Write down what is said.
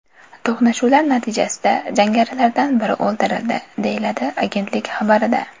To‘qnashuvlar natijasida jangarilardan biri o‘ldirildi”, deyiladi agentlik xabarida.